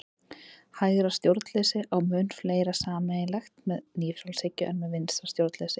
Hægra stjórnleysi á mun fleira sameiginlegt með nýfrjálshyggju en með vinstra stjórnleysi.